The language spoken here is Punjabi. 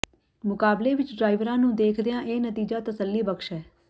ਮੁਕਾਬਲੇ ਵਿੱਚ ਡਰਾਈਵਰਾਂ ਨੂੰ ਦੇਖਦਿਆਂ ਇਹ ਨਤੀਜਾ ਤਸੱਲੀਬਖਸ਼ ਹੈ